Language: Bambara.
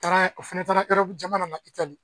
Taara o fɛnɛ taara jamana na Itali.